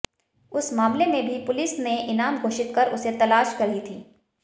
उस मामले में भी पुलिस ने इनाम घोषित कर उसे तलाश रही थी